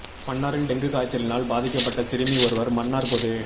மன்னாரில் டெங்கு காய்ச்சலினால் பாதீக்கப்பட்ட சிறுமி ஒருவர் மன்னார் பொது